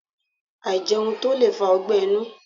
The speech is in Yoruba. Àìjẹun tó lè fa ogbẹ́ inú